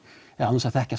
án þess að þekkja